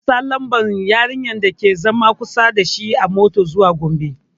Zai ansa lambar yarinyar da ke zaune kusa dashi a motar zuwa Gombe